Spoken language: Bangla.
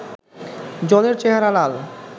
জলের চেহারা লাল